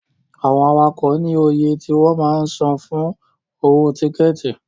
Àwọn awakọ̀ ní oye tí wọ́n máa ń san fún owó tíkẹ̀tì.